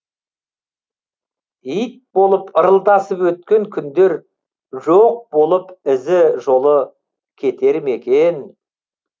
ит болып ырылдасып өткен күндер жоқ болып ізі жолы кетер ме екен